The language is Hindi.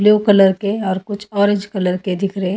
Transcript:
ब्लू कलर के और कुछ ऑरेंज कलर के दिख रहे--